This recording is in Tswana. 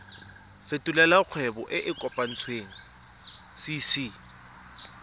fetolela kgwebo e e kopetswengcc